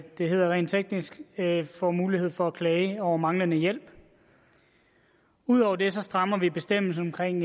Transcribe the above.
det rent teknisk hedder får mulighed for at klage over manglende hjælp ud over det strammer vi bestemmelsen omkring